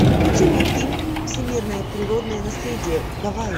включи мне фильм всемирное природное наследие гавайи